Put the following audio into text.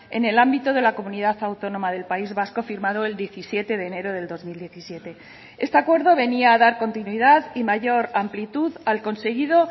en el ámbito de la comunidad autónoma del país vasco firmado el diecisiete de enero del dos mil diecisiete este acuerdo venía a dar continuidad y mayor amplitud al conseguido